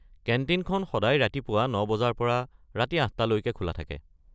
কেণ্টিনখন সদায় ৰাতিপুৱা ৯ বজাৰ পৰা ৰাতি ৮ টা লৈকে খোলা থাকে।